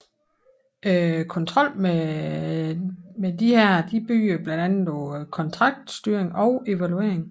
Kontrollen med disse bygger blandt andet på kontraktstyring og evaluering